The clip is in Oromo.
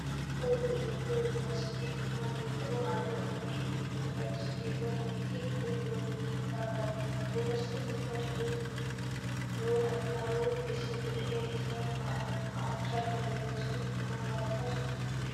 Loogoon kun loogoo yunivarsiitii jimmaa yoo ta'u halluu akka cuquliisa, magariisa, keelloo, adii fi kanneen biroo of irraa qaba. Yunivarsiitiin Jimmaa dhaloota qaruu keessatti gahee isaa bahaachaa jira. Yunivarsiitiin jimmaa bara kam hundeeffame?